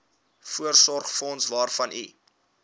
voorsorgsfonds waarvan u